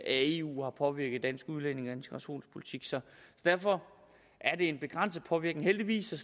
eu har påvirket dansk udlændinge og integrationspolitik derfor er det en begrænset påvirkning heldigvis og